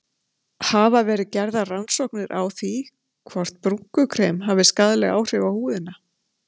Hafa verið gerðar rannsóknir á því hvort brúnkukrem hafi skaðleg áhrif á húðina?